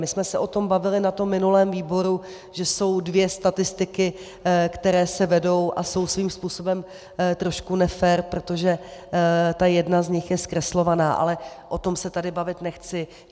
My jsme se o tom bavili na tom minulém výboru, že jsou dvě statistiky, které se vedou a jsou svým způsobem trošku nefér, protože ta jedna z nich je zkreslovaná, ale o tom se tady bavit nechci.